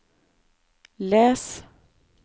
les